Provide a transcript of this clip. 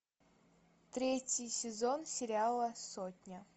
третий сезон сериала сотня